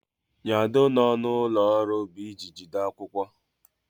Nyado nọ n'ụlọ ọrụ bụ ịji jide akwụkwọ.